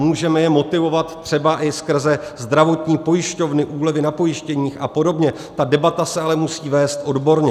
Můžeme je motivovat třeba i skrze zdravotní pojišťovny, úlevy na pojištěních a podobně, ta debata se ale musí vést odborně.